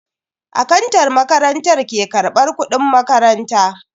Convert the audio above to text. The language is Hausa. Akantan makarantar ke karbar kudin makaranta.